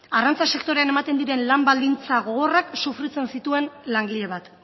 arrantza sektorean ematen diren lan baldintza gogorrak sufritzen zituen langile bat